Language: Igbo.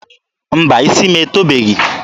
Mba, isi m etobeghi.